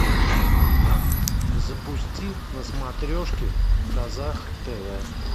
запусти на смотрешке казах тв